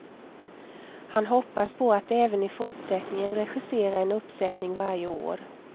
Han hoppas på att även i fortsättningen regissera en uppsättning varje år.